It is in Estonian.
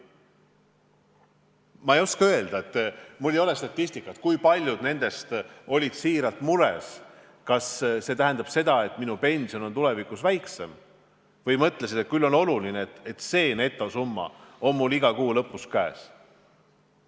Ma ei oska öelda, mul ei ole statistikat, kui paljud nendest olid selle pärast mures, et see ehk tähendab seda, et nende pension on tulevikus väiksem, ja kui paljud mõtlesid lihtsalt, et küll on oluline, et see netosumma on mul iga kuu lõpus käes.